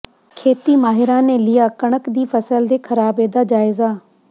ਖੇਤੀ ਮਾਹਿਰਾਂ ਨੇ ਲਿਆ ਕਣਕ ਦੀ ਫਸਲ ਦੇ ਖਰਾਬੇ ਦਾ ਜਾਇਜ਼ਾ